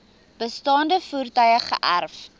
bestaande voertuie geërf